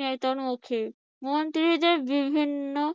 নেতার মুখে মন্ত্রীদের বিভিন্ন